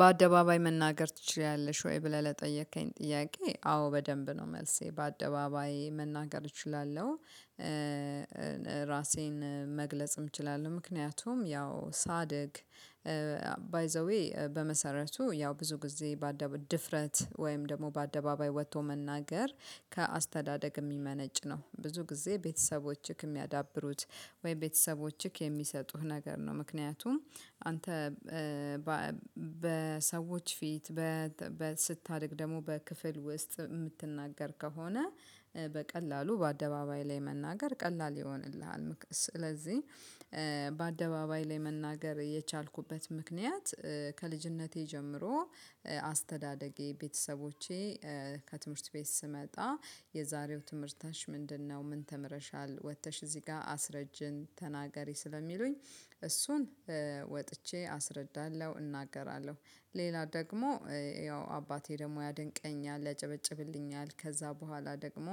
በአደባባይ መናገር ትችላለሽ? ወይ ብለህ ለጠየከኝ ጥያቄ አዎ በደንብ ነው መልሴ በአደባባይ መናገር እችላለሁ። ራሴን መግለጽም እችላለሁ ምክንያቱም ያው ሳድግ ባይ ዘ ዌይ በመሰረቱ ያው ብዙ ጊዜ በአደባባይ ድፍረት ወይም ደግሞ በአደባባይ ወጥቶ መናገር ከአስተዳደግ የሚመነጭ ነው። ብዙ ጊዜ ቤተሰቦቸ የሚያዳብሩት ወይም ቤተሰቦችህ የሚሰጡህ ነገር ነው። ምክንያቱም አንተ በሰዎች ፊት በስታድግ ደግሞ በክፍል ውስጥ የምትናገር ከሆነ በቀላሉ በአደባባይ ላይ መናገር ቀላል ይሆንልሃል። ስለዚህ በአደባባይ ላይ መናገር የቻልኩበት ምክንያት ከልጅነቴ ጀምሮ አስተዳደጌ ቤተሰቦቼ ከትምህርት ቤት ስመጣ የዛሬው ትምህርታች ምንድነው ምን ተምረሻል ወጥተሽ እዚህ ጋር አስረጅን ተናገሪ ስለሚሉኝ እሱን ወጥቼ አስረዳለሁ እናገራለሁ። ሌላ ደግሞ ያው አባቴ ደግሞ ያደንቀኛል ያጨበጭብልኛል። ከዛ በኋላ ደግሞ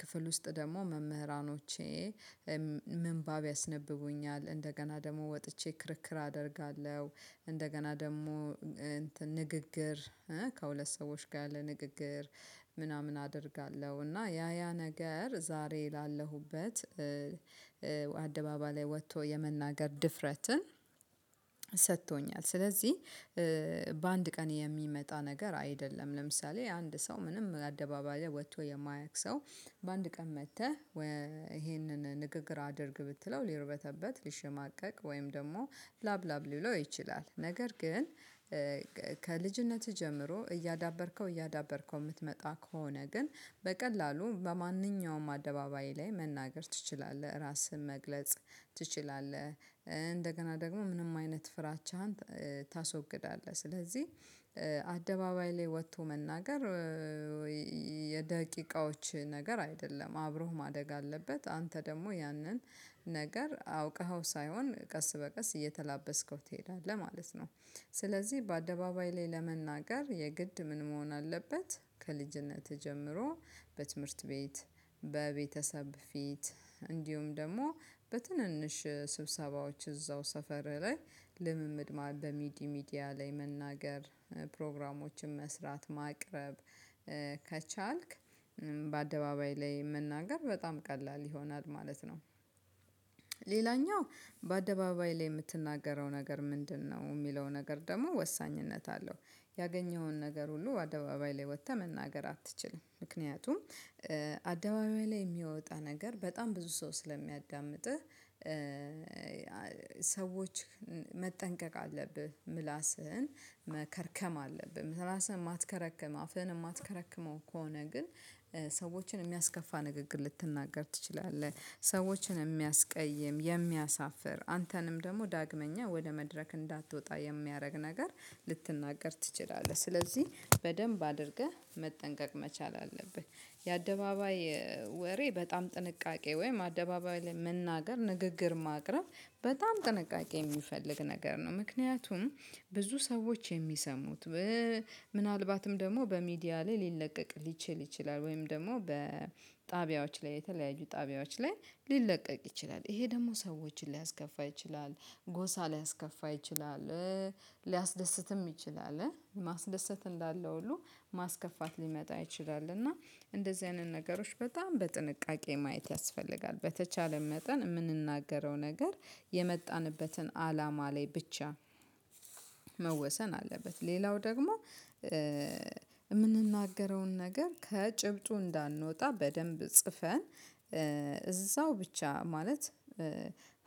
ክፍል ውስጥ ደግሞ መምህራኖቼ ምንባብ ያስነብቡኛል እንደገና ደግሞ ወጥቼ ክርክር አደርጋለሁ። እንደገና ደግሞ ንግግር ከሁለት ሰዎች ጋር ለንግግር ምናምን አደርጋለሁ እና ያ ያ ነገር ዛሬ ላለሁበት አደባባይ ላይ ወጥቶ የመናገር ድፍረትን ሰጥቶኛል። ስለዚህ በአንድ ቀን የሚመጣ ነገር አይደለም። ለምሳሌ አንድ ሰው ምንም አደባባይ ወጥቶ የማያውቅ ሰው በአንድ ቀን መጥተህ ወይ ይሄንን ንግግር አድርግ ብትለው ሊርበተበት ሊሽማቀቅ ወይም ደግሞ ላብ ላብ ሊለው ይችላል። ነገር ግን ከልጅነትህ ጀምሮ እያዳበርከው እያዳበርከው የምትመጣ ከሆነ ግን በቀላሉ በማንኛውም አደባባይ ላይ መናገር ትችላለህ ራስህን መግለጽ ትችላለህ። እንደገና ደግሞ ምንም አይነት ፍራቻህን ታስወግዳለህ። ስለዚህ አደባባይ ላይ ወጥቶ መናገር ወይ የደቂቃዎች ነገር አይደለም አብሮህ ማደግ አለበት። አንተ ደግሞ ያንን ነገር አውቀኸው ሳይሆን ቀስ በቀስ እየተላበስከው ትሄዳለህ ማለት ነው። ስለዚህ በአደባባይ ላይ ለመናገር የግድ ምን መሆን አለበት? ከልጅነትህ ጀምሮ በትምህርት ቤት በቤተሰብ ፊት እንዲሁም ደግሞ በትንንሽ ስብሰባዎች እዛው ሰፈር ላይ ልምምድ ማህበር በሚዲያ ሚዲያ ላይ መናገር ፕሮግራሞችን መስራት ማቅረብ ከቻልክ በአደባባይ ላይ መናገር በጣም ቀላል ይሆናል ማለት ነው። ሌላኛው በአደባባይ ላይ የምትናገረው ነገር ምንድነው? የሚለው ነገር ደግሞ ወሳኝነት አለው ያገኘውን ነገር ሁሉ አደባባይ ላይ ወጥተህ መናገር አትችልም። ምክንያቱም አደባባይ ላይ የሚወጣ ነገር በጣም ብዙ ሰው ስለሚያዳምጥህ። ሰዎች መጠንቀቅ አለብህ ምላስህን መከርከም አለብህ ምላስህን የማትከረክም አፍህን የማትከረክመው ከሆነ ግን ሰዎችን የሚያስከፋ ንግግር ልትናገር ትችላለህ። ሰዎችን የሚያስቀይም የሚያሳፍር አንተንም ደግሞ ዳግመኛ ወደ መድረክ እንዳትወጣ የሚያደርግ ነገር ልትናገር ትችላለህ። ስለዚህ በደንብ አድርገህ መጠንቀቅ መቻል አለብህ። የአደባባይ ወሬ በጣም ጥንቃቄ ወይም አደባባይ ላይ መናገር ንግግር ማቅረብ በጣም ጥንቃቄ የሚፈልግ ነገር ነው። ምክንያቱም ብዙ ሰዎች የሚሰሙት ምናልባትም ደግሞ በሚዲያ ላይ ሊለቀቅ ሊችል ይችላል። ወይም ደግሞ በጣቢያዎች ላይ የተለያዩ ጣቢያዎች ላይ ሊለቀቅ ይችላል። ይሄ ደግሞ ሰዎችን ሊያስከፋ ይችላል። ጎሳ ሊያስከፋ ይችላል። ሊያስደስትም ይችላል ማስደሰት እንዳለው ሁሉ ማስከፋት ሊመጣ አይችልም። እና እንደዚህ አይነት ነገሮች በጣም በጥንቃቄ ማየት ያስፈልጋል። በተቻለን መጠን የምንናገረው ነገር የመጣንበትን አላማ ላይ ብቻ መወሰን አለበት። ሌላው ደግሞ የምንናገረውን ነገር ከጭብጡ እንዳንወጣ በደንብ ጽፈን እዛው ብቻ ማለት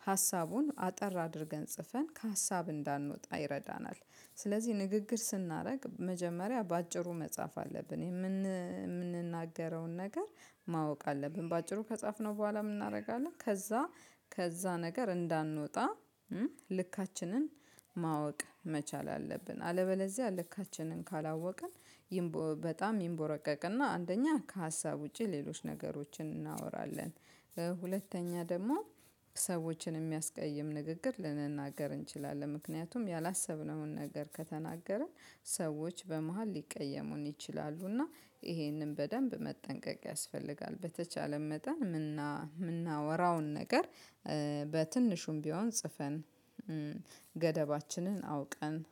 ሀሳቡን አጠር አድርገን ጽፈን ከሀሳብ እንዳንወጣ ይረዳናል። ስለዚህ ንግግር ስናደርግ መጀመሪያ በአጭሩ መጻፍ አለብን። የምንናገረውን ነገር ማወቅ አለብን። በአጭሩ ከጻፍነው በኋላ ምን እናደርጋለን? ከዛ ከዛ ነገር እንዳንወጣ ልካችንን ማወቅ መቻል አለብን። አለበለዚያ ልካችንን ካላወቅን በጣም ይንቦረቀቅና አንደኛ ከሀሳብ ውጪ ሌሎች ነገሮችን እናወራለን። ሁለተኛ ደግሞ ሰዎችን የሚያስቀይም ንግግር ልንናገር እንችላለን። ምክንያቱም ያላሰብነውን ነገር ከተናገረን ሰዎች በመሃል ሊቀየሙን ይችላሉ። እና ይሄንን በደንብ መጠንቀቅ ያስፈልጋል። በተቻለ መጠን የምናወራውን ነገር በትንሹም ቢሆን ጽፈን ገደባችንን አውቀን